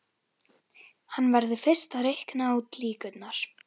Hann verður fyrst að reikna út líkurnar.